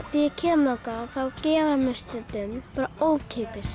ég kem þangað þá gefur hann mér stundum ókeypis